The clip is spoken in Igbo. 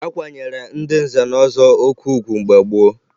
A kwanyere ndị nze na ọzọ oke ugwu mgbe gboo